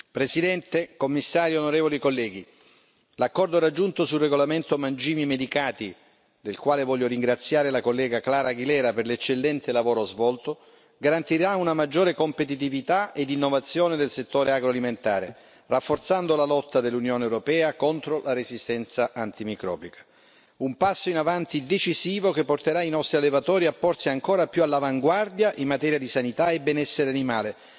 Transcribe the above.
Signor Presidente, onorevoli colleghi, signor commissario, l'accordo raggiunto sul regolamento sui mangimi medicati, per il quale voglio ringraziare la collega Clara Eugenia Aguilera García per l'eccellente lavoro svolto, garantirà una maggiore competitività ed innovazione del settore agroalimentare, rafforzando la lotta dell'Unione europea contro la resistenza antimicrobica. Si tratta di un passo in avanti decisivo, che porterà i nostri allevatori a porsi ancora più all'avanguardia in materia di sanità e benessere animale.